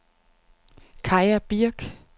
Kaja Birk